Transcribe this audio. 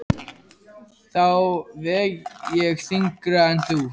Þá veg ég þyngra en þú.